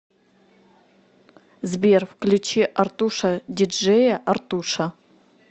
сбер включи артуша ди джея артуша